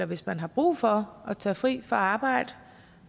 hvis man har brug for at tage fri fra arbejde